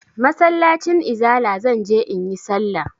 Masallacin izala zan je in yi sallah.